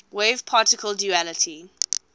wave particle duality